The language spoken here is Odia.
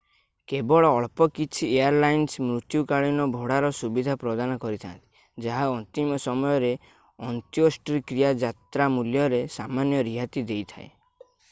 କେବଳ ଅଳ୍ପ କିଛି ଏୟାରଲାଇନ୍ସ ମୃତ୍ୟୁକାଳୀନ ଭଡ଼ାର ସୁବିଧା ପ୍ରଦାନ କରିଥାନ୍ତି ଯାହା ଅନ୍ତିମ ସମୟର ଅନ୍ତ୍ୟେଷ୍ଟିକ୍ରିୟା ଯାତ୍ରା ମୂଲ୍ୟରେ ସାମାନ୍ୟ ରିହାତି ଦେଇଥାଏ